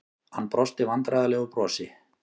Hann brosti vandræðalegu brosi.